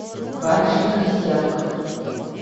барышня крестьянка